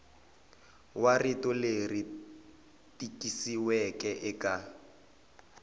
wa rito leri tikisiweke eka